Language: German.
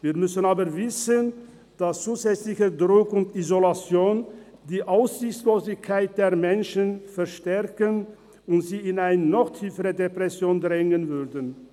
Wir müssen aber wissen, dass zusätzlicher Druck und Isolation die Aussichtslosigkeit der Menschen verstärken und sie in eine noch tiefere Depression drängen würden.